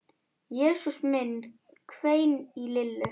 Jesús minn hvein í Lillu.